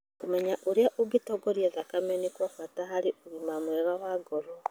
Kũmenya ũrĩa ũngĩtongoria thakame nĩ kwa bata harĩ ũgima mwega wa ngoro.